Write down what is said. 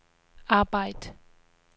arbejd